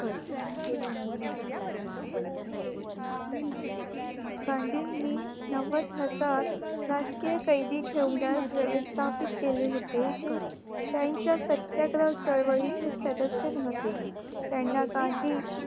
कारण गांधी नि नवद हजार राजकीय कायदी ठेवण्यास वेवस्थापीत केले होते जे त्यांच्या सत्यत्वात चळवळीचे सदयस होते त्याना गांधी गांधींनी